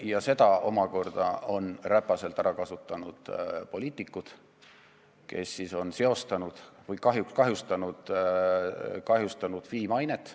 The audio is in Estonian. Ja seda omakorda on räpaselt ära kasutanud poliitikud, kes on kahjuks kahjustanud FI mainet.